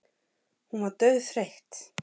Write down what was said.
Hún var dauðþreytt.